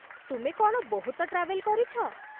ତୁମେ କ'ଣ ବହୁତ ଟ୍ରାଭେଲ୍ କରିଛ ?